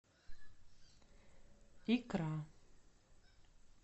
икра